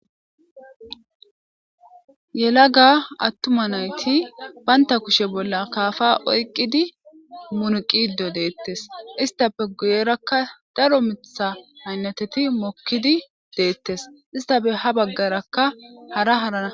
Yelaga atuma nayti banta kushe bolla akafa oykidi munaqide deetes istappe guyeraka daro miththa aynateti mokidi de'ettes istappe ha baggarakka hara hara